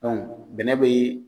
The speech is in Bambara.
bɛnɛ be yen